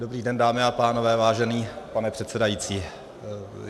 Dobrý den, dámy a pánové, vážený pane předsedající.